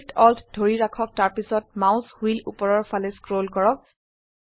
Shift Alt ধৰি ৰাখক তাৰপিছত মাউস হুইল উপৰৰ ফালে স্ক্ৰল কৰক